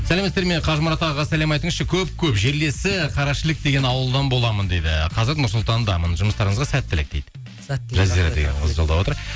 сәлеметсіздер ме қажымұрат ағаға сәлем айтыңызшы көп көп жерлесі қарашілік деген ауылдан боламын дейді қазір нұр сұлтандамын жұмыстарыңызға сәттілік дейді жазира деген қыз жолдап отыр